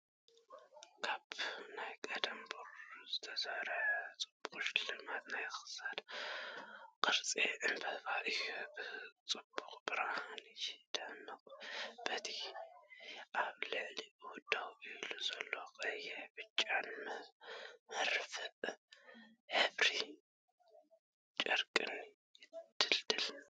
ካብ ናይ ቀደም ብሩርን ዝተሰርሐ ጽቡቕ ሽልማት ናይ ክሳድ ቅርጺ ዕምባባ እዩ። ብጽቡቕ ብርሃን ይደምቕ፣ በቲ ኣብ ልዕሊኡ ደው ኢሉ ዘሎ ቀይሕን ብጫን መርፍእን ሕብሪ ጨርቅን ይድልድል።